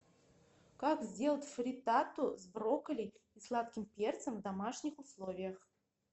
как сделать фриттату с брокколи и сладким перцем в домашних условиях